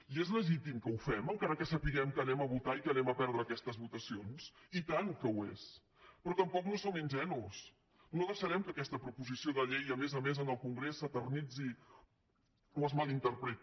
i és legítim que ho fem encara que sapiguem que votarem i que perdrem aquestes votacions i tant que ho és però tampoc no som ingenus no deixarem que aquesta proposició de llei a més a més en el congrés s’eternitzi o es mal interpreti